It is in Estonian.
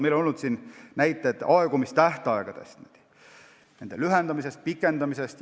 Meil on olnud näiteid aegumistähtaegade lühendamise ja pikendamise kohta.